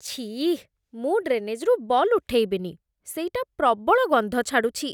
ଛିଃ, ମୁଁ ଡ୍ରେନେଜ୍‌ରୁ ବଲ୍ ଉଠେଇବିନି । ସେଇଟା ପ୍ରବଳ ଗନ୍ଧ ଛାଡ଼ୁଛି ।